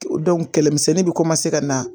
kɛlɛmisɛnnin bɛ ka na